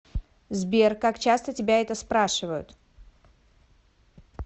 сбер как часто тебя это спрашивают